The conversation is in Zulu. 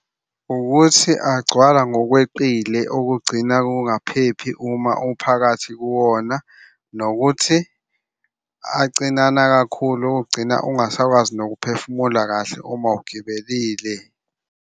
Ukuthi agcwala ngokweqile okugcina kungaphephi uma umphakathi kuwona, nokuthi acinana kakhulu okugcina ungasakwazi nokuphefumula kahle uma ugibelile.